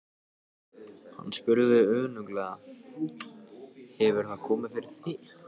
Hann spurði önuglega: Hefur það komið fyrir þig?